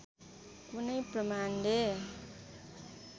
कुनै प्रमाणले